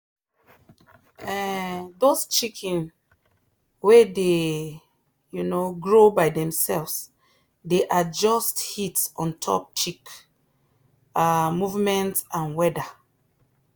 um those chicken way dey um grow by themselves dey adjust heat ontop chick um movement and weather